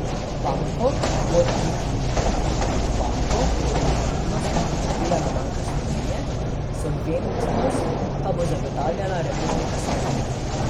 Banko bo likvidnostno podpirala Banka Slovenije, solventnost pa bo zagotavljala Republika Slovenija.